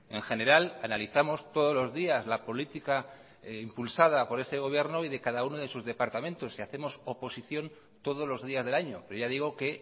en general analizamos todos los días la política impulsada por este gobierno y de cada uno de sus departamentos y hacemos oposición todos los días del año pero ya digo que